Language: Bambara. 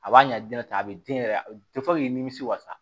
A b'a ɲɛ diɲɛ taa a bɛ den yɛrɛ nimisi wasa